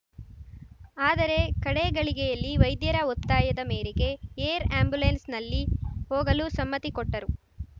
ಆದರೆ ಕಡೇ ಗಳಿಗೆಯಲ್ಲಿ ವೈದ್ಯರ ಒತ್ತಾಯದ ಮೇರೆಗೆ ಏರ್‌ ಆಂಬ್ಯುಲೆನ್ಸ್‌ನಲ್ಲಿ ಹೋಗಲು ಸಮ್ಮತಿ ಕೊಟ್ಟರು